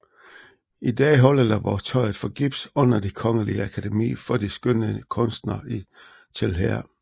I dag holder Laboratoriet for Gips under Det Kongelige Akademi for de Skønne Kunster til her